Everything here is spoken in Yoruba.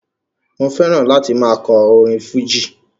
Mo fẹ́ràn láti máa kọ orin fújì